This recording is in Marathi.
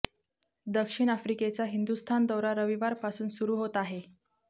दक्षिण आफ्रिकेचा हिंदुस्थान दौरा रविवारपासून सुरू होत आहे